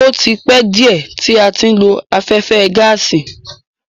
O tí pẹ́ díẹ̀ tí a ti ń lo afẹ́fẹ́ gáàsì.